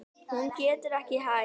Hún getur ekki hætt.